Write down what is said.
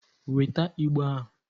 Weta Igbo ahụ!